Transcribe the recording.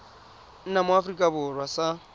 nna mo aforika borwa sa